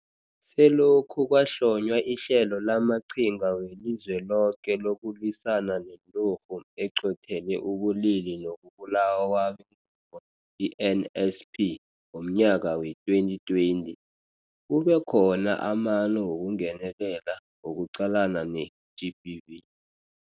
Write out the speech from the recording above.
Selokhu kwahlonywa iHlelo lamaQhinga weliZweloke lokuLwisana neNturhu eQothele ubuLili nokuBulawa kwabeNgubo, i-NSP, ngomnyaka wee-2020, kube khona amano wokungenelela wokuqalana ne-GBV.